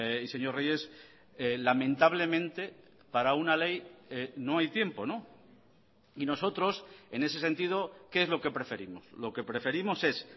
y señor reyes lamentablemente para una ley no hay tiempo y nosotros en ese sentido qué es lo que preferimos lo que preferimos es